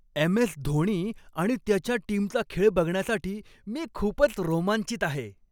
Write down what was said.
M S. Dhoni आणि त्याच्या टीमचा खेळ बघण्यासाठी मी खूपच रोमांचित आहे!